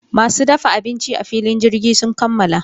Masu dafa abinci a filin jirgin sun kammala.